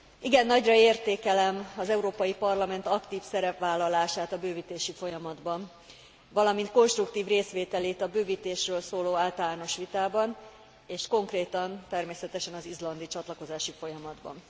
Igen nagyra értékelem az Európai Parlament aktív szerepvállalását a bővítési folyamatban, valamint konstruktív részvételét a bővítésről szóló általános vitában, és konkrétan természetesen az izlandi csatlakozási folyamatban.